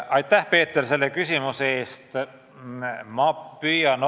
Aitäh, Peeter, selle küsimuse eest!